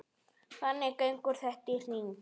Þannig gengur þetta í hring.